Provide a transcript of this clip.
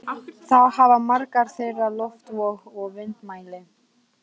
Þá hafa margar þeirra loftvog og vindmæli.